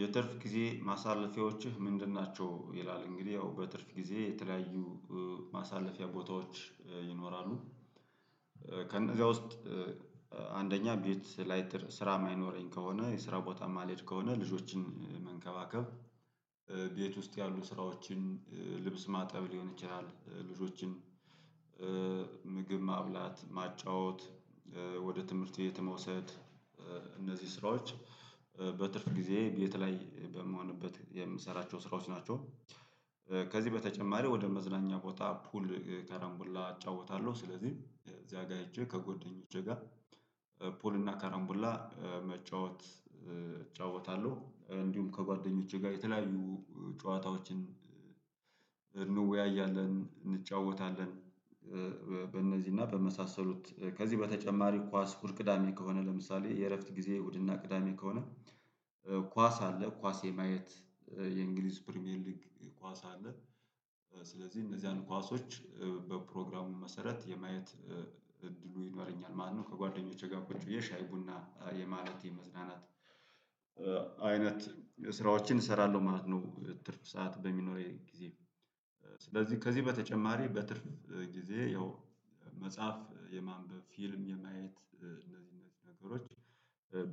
የትርፍ ጊዜ ማሳለፊያዎችህ ምንድን ናቸው? ይላል እንግዲህ ያው በትርፍ ጊዜ የተለያዩ ማሳለፊያ ቦታዎች ይኖራሉ። ከነዛ ውስጥ አንደኛ ቤት ላይት ስራ የማይኖረኝ ከሆነ የስራ ቦታ የማልሄድ ከሆነ ልጆችን መንከባከብ። ቤት ውስጥ ያሉ ስራዎችን ልብስ ማጠብ ሊሆን ይችላል። ልጆችን ምግብ ማብላት ማጫወት ወደ ትምህርት ቤት መውሰድ። እነዚህ ስራዎች በትርፍ ጊዜ ቤት ላይ በምሆንበት የምሰራቸው ስራዎች ናቸው። ከዚህ በተጨማሪ ወደ መዝናኛ ቦታ ፑል ከረንቡላ እጫውታለሁ። ስለዚህ እዚያ ጋር ሄጄ ከጎደኞቼ ጋር ፑልና እና ካረንቡላ መጫወት እጫወታለሁ። እንዲሁም ከጓደኞቼ ጋር የተለያዩ ጨዋታዎችን እንወያያለን እንጫወታለን። በእነዚህና በመሳሰሉት ከዚህ በተጨማሪ ኳስ እሁድ ቅዳሜ ከሆነ ለምሳሌ የእረፍት ጊዜ እሁድና ቅዳሜ ከሆነ። ኳስ አለ ኳስ የማየት የእንግሊዝ ፕሪሚየር ሊግ ኳስ አለ። ስለዚህ እነዛን ኳሶች በፕሮግራሙ መሰረት የማየት እድሉ ይኖረኛል ማለት ነው። ከጓደኞቼ ጋር ቁጭ ብዬ ቡና የማለት የመዝናናት አይነት ስራዎችን እሰራለሁ ማለት ነው። ትርፍ ሰዓት በሚኖረኝ ጊዜ። ስለዚህ ከዚህ በተጨማሪ በትርፍ ጊዜ ያው መጽሐፍ የማንበብ ፊልም የማየት እነዚህ እነዚህ ነገሮች